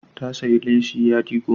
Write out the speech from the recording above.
Ta sayi leshi yadi goma.